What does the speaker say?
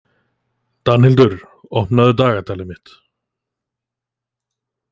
Danhildur, opnaðu dagatalið mitt.